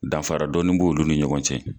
Danfara dɔɔni b'olu ni ɲɔgɔn cɛ.